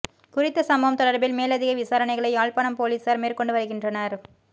குறித்த சம்பவம் தொடர்பில் மேலதிக விசாரணைகளை யாழ்ப்பாணம் பொலிஸார் மேற்கொண்டு வருகின்றனர்